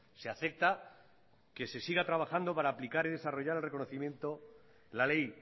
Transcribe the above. se acepta que se siga trabajando para aplicar y desarrollar la ley